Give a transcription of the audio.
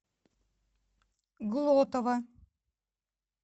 глотова